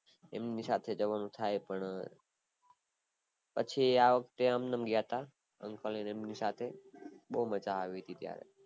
એમની સાથે જવાનું થાય પણ પછી આ વખતે અમ નામ ગયા હતા uncle ને એમની સાથે બૌ મજા આવી હતી